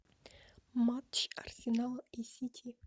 матч арсенал и сити